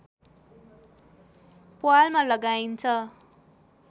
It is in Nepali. प्वालमा लगाइन्छ